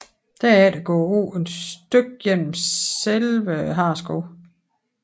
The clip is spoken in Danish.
Derefter går åen et stykke gennem selve Hareskoven